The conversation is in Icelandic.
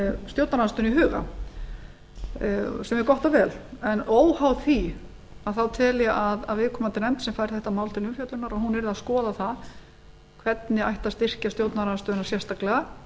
stjórnarandstöðuna í huga segjum gott og vel en óháð því tel ég að viðkomandi nefnd sem fær þetta mál til umfjöllunar og hún yrði að skoða það hvernig ætti að styrkja stjórnarandstöðuna sérstaklega